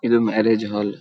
ಇದು marriage hall .